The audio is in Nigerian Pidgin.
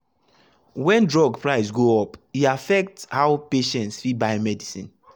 when drug price go up e affect how patients fit buy medicine.